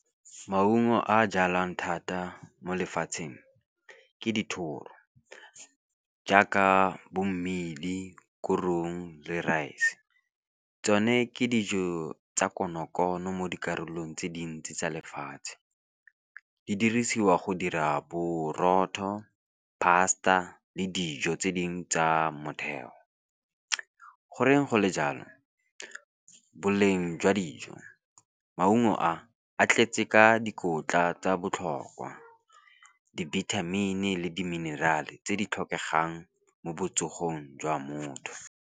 Maungo a jalwang thata mo lefatsheng ke dithoro, jaaka bo mmidi, korong le rice. Tsone ke dijo tsa konokono mo dikarolong tse dintsi tsa lefatshe di dirisiwa go dira borotho pasta le dijo tse dingwe tsa motheo. Goreng go le jalo, boleng jwa dijo, maungo a a tletse ka dikotla tsa botlhokwa, dibithamini le di mineral-e tse di tlhokegang mo botsogong jwa motho.